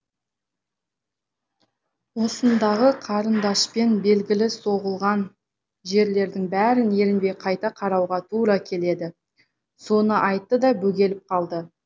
осындағы қарындашпен белгілі соғылған жерлердің бәрін ерінбей қайта қарауға тура келеді соны айтты да бөгеліп қалды